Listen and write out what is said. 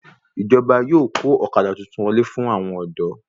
Ìjọba yóò kó ọ̀kadà titun wọlé fún àwọn ọ̀dọ́